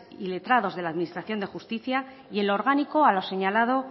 y letrados de la administración de justicia y el orgánico a lo señalado